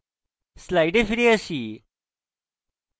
slides ফিরে আসি